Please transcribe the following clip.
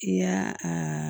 I y'a aa